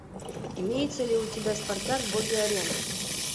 имеется ли у тебя спартак боги арены